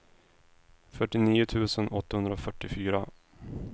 fyrtionio tusen åttahundrafyrtiofyra